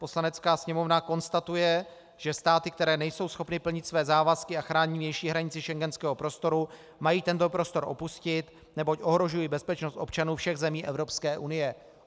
Poslanecká sněmovna konstatuje, že státy, které nejsou schopny plnit své závazky a chránit vnější hranici schengenského prostoru, mají tento prostor opustit, neboť ohrožují bezpečnost občanů všech zemí Evropské unie.